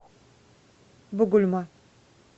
бугульма